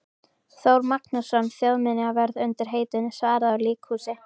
Þór Magnússon þjóðminjavörð undir heitinu Svarað úr líkhúsi.